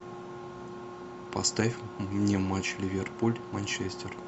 поставь мне матч ливерпуль манчестер